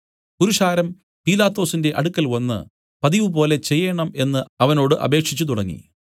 പുരുഷാരം പീലാത്തോസിന്റെ അടുക്കൽവന്ന് പതിവുപോലെ ചെയ്യേണം എന്നു അവനോട് അപേക്ഷിച്ചുതുടങ്ങി